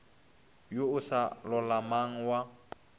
wo o sa lolamang wa